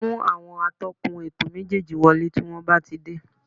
Mú àwọn atọ́kùn ètò méjéèjì wọlé tí wọ́n bá ti dé